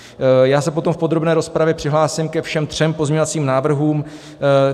Já se potom v podrobné rozpravě přihlásím ke všem třem pozměňovacím návrhům.